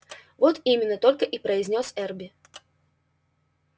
вот именно только и произнёс эрби